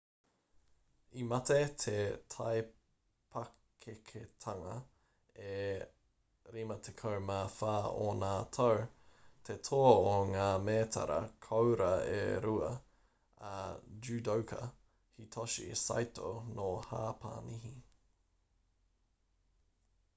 i mate i te taipakeketanga e 54 ōna tau te toa o ngā mētara koura e rua a judoka hitoshi saito nō hāpani